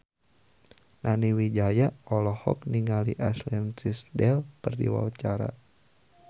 Nani Wijaya olohok ningali Ashley Tisdale keur diwawancara